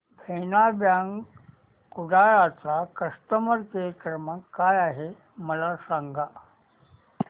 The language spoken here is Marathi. देना बँक कुडाळ चा कस्टमर केअर क्रमांक काय आहे मला सांगा